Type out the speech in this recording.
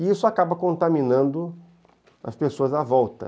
E isso acaba contaminando as pessoas à volta.